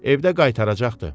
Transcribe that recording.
Evdə qaytaracaqdı.